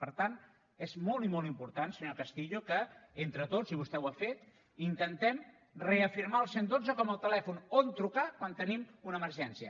per tant és molt i molt important senyor castillo que entre tots i vostè ho ha fet intentem reafirmar el cent i dotze com el telèfon on trucar quan tenim una emergència